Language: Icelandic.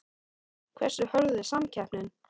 Hversu hörð er samkeppnin?